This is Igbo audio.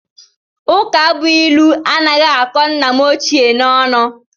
Ụkabụilu anaghị akọ nna m ochie n'ọnụ